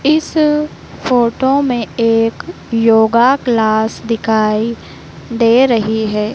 इस फोटो में एक योगा क्लास दिखाई दे रही है।